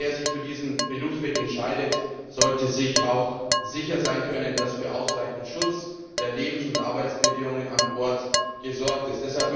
Und wer sich für diesen Berufsweg entscheidet, sollte sich auch sicher sein können, dass für ausreichend Schutz der Lebens und Arbeitsbedingungen an Bord gesorgt ist.